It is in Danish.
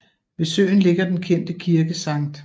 Ved søen ligger den kendte kirke St